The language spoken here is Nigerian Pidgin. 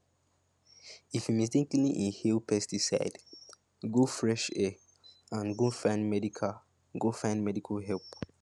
if you mistakenly inhale pesticide go fresh air and go find medical go find medical help